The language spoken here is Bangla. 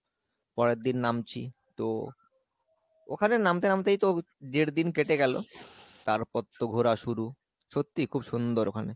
পরেরদিন নামছি, তো ওখানে নামতে নামতেই তো দেড় দিন কেটে গেলো, তারপর তো ঘোরা শুরু, সত্যি খুব সুন্দর ওখানে ।